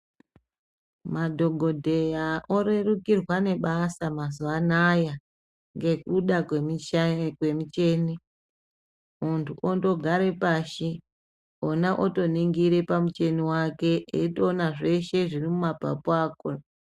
Madhokodheya orerukirwa nebasa mazuwa anaya nekuda kwemuchini muntu ondogara pashi wona wotonhingira pamuchini wake eitopona zveshe zviri mumapapu ako.